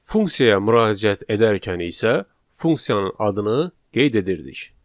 Funksiyaya müraciət edərkən isə funksiyanın adını qeyd edirdik.